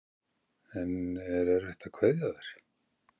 En er erfitt að kveðja þær?